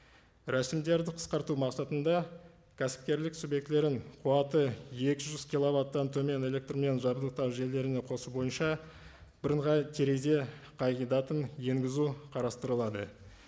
рәсімдерді қысқарту мақсатында кәсіпкерлік субъектілерін қуаты екі жүз киловаттан төмен электрмен жабдықтау желілеріне қосу бойынша бірыңғай терезе қағидатын енгізу қарастырылады